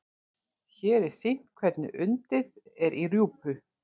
hér er sýnt hvernig undið er í rjúpu